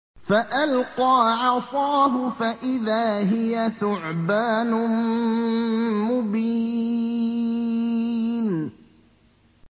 فَأَلْقَىٰ عَصَاهُ فَإِذَا هِيَ ثُعْبَانٌ مُّبِينٌ